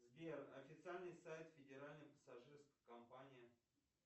сбер официальный сайт федеральной пассажирской компании